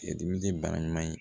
dimi ye bara ɲuman ye